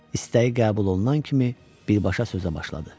İstəyi qəbul olunan kimi birbaşa sözə başladı.